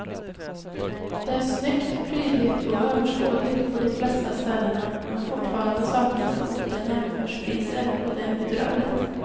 Det är snyggt, prydligt och överskådligt på de flesta ställena men fortfarande saknas det ofta jämförpriser och det är bedrövligt.